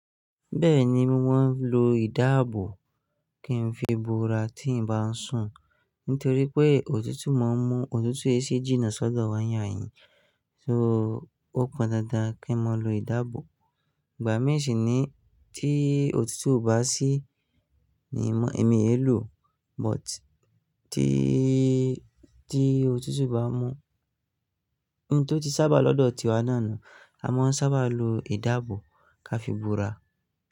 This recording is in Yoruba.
Bẹ́ẹ̀ni, mo máa ń lo ìdáàbò kí n fi búra tí ń bá sùn. Nítorí pé òtútù máa ń mú òtútù AC jìnnà sọ́dọ̀ wá yá à yín, so ó pọn dandan kí n máa lo ìdáàbò. Ìgbà mí ìṣìn ni tí òtútù ò bá sí ni èmi elò but tí, tí òtútù bá mú ohun tó ti sábà lọ́dọ̀ tiwa náà ni a máa ń sábà lo ìdáàbò ká fi búra.